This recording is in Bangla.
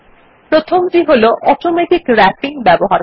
প্রথমটি হল অটোমেটিক র্যাপিং ব্যবহার করা